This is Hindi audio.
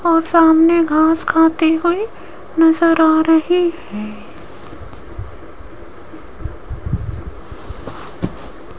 और सामने घास खाती हुई नजर आ रही है।